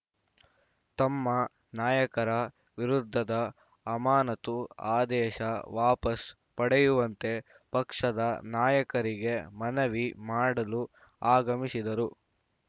ತಮ್ಮ ನಾಯಕರ ವಿರುದ್ಧದ ಅಮಾನತು ಆದೇಶ ವಾಪಸ್‌ ಪಡೆಯುವಂತೆ ಪಕ್ಷದ ನಾಯಕರಿಗೆ ಮನವಿ ಮಾಡಲು ಆಗಮಿಸಿದರು